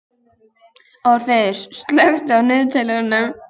Orfeus, slökktu á niðurteljaranum.